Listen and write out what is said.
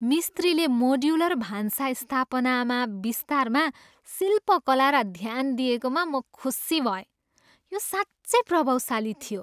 मिस्त्रीले मोड्युलर भान्सा स्थापनामा विस्तारमा शिल्पकला र ध्यान दिएकोमा म खुसी भएँ। यो साँच्चै प्रभावशाली थियो।